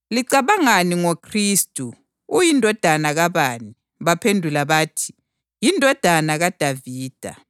Wathi kubo, “Kungani pho uDavida wathi ekhuluma ngoMoya umbiza athi ‘Nkosi’? Ngoba uthi,